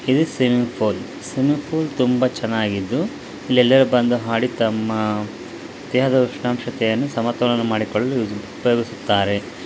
ಇದು swimming pool swimming pool ತುಂಬಾ ಚೆನ್ನಾಗಿದ್ದು ಇಲ್ಲಿ ಎಲ್ಲ ಜನರು ಬಂದು ತಮ್ಮ ದೇಹದ ಉಷ್ಣಾಂಶವನ್ನು ಸಮತೋಲನ ಮಾಡಿಕೊಳ್ಳು ಉಪಯೋಗಿಸುತ್ತಾರೆ.